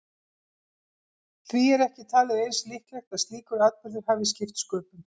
Því er ekki talið eins líklegt að slíkur atburður hafi skipt sköpum.